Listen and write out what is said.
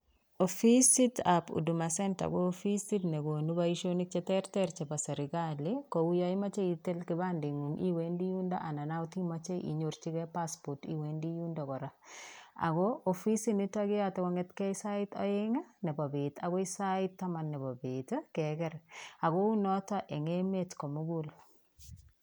Ofisit ap huduma center ko ofisit negonu boisionik cheterter chebo serkali kouyo imoche itil kipandingung iwendi yundo anan akot imoche inyorchike passport iwendi yundo kora, Ako ofisit nito keyote kongetke sait oeng nepo bet akoi sait taman nepo bet keger ako unoto eng emet komugul.